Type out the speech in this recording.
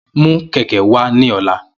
Mu keke wa ni ọla!